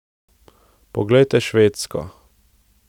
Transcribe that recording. Poglejte Švedsko.